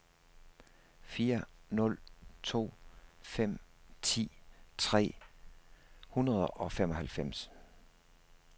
fire nul to fem ti tre hundrede og femoghalvfems